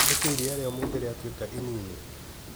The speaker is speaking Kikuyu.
Nĩkĩĩ ira rĩa ũmũthĩ rĩatũĩka inini?